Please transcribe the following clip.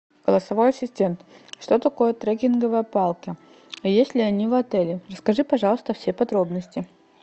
голосовой ассистент что такое трекинговые палки есть ли они в отеле расскажи пожалуйста все подробности